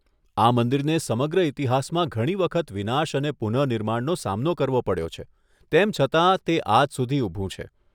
આ મંદિરને સમગ્ર ઇતિહાસમાં ઘણી વખત વિનાશ અને પુનઃનિર્માણનો સામનો કરવો પડ્યો છે, તેમ છતાં તે આજ સુધી ઊભું છે!